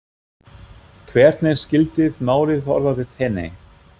Hvernig skyldið málið horfa við henni?